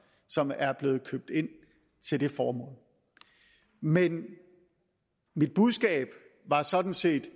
som er blevet købt ind til det formål men mit budskab var sådan set i